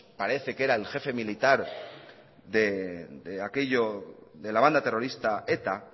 parece que era el jefe militar de aquello de la banda terrorista eta